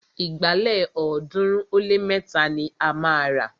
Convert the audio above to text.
Ìgbálẹ̀ ọ̀ọ́dúnrún ó lé mẹ́ta ni a máa rà